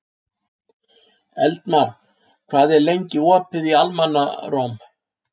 Eldmar, hvað er lengi opið í Almannaróm?